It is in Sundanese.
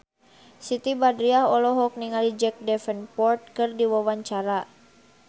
Siti Badriah olohok ningali Jack Davenport keur diwawancara